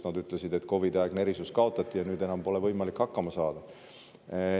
Nad ütlesid, et COVID-i aegne erisus kaotati ja nüüd enam pole võimalik hakkama saada.